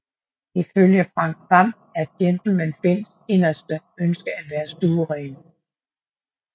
Ifølge Frank Hvam er Gentleman Finns inderste ønske at være stueren